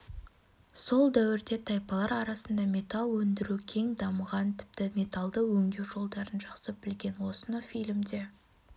сол дәуірде тайпалар арасында металл өндіру кең дамыған тіпті металлды өңдеу жолдарын жақсы білген осыны фильмде